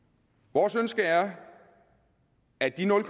vores ønske er at de nul